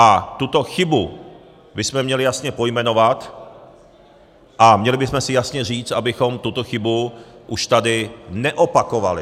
A tuto chybu bychom měli jasně pojmenovat a měli bychom si jasně říct, abychom tuto chybu už tady neopakovali.